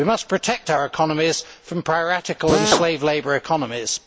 We must protect our economies from piratical and slave labour economies.